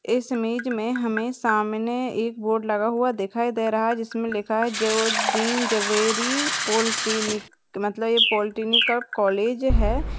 इस इमेज मे हमे सामने एक बोर्ड लगा हुआ दिखाई दे रहा है जिसमे लिखा है जेवोद्दीन जवेरी पॉलिटेक्निक मतलब ये पॉलिटेक्निक का कॉलेज है।